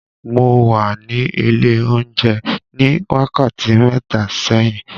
Mo wà ní ilé oúnjẹ ní wákàtí mẹ́ta sẹ́yìn.